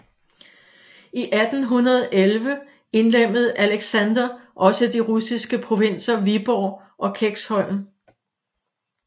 I 1811 indlemmede Alexander også de russiske provinser Viborg og Kexholm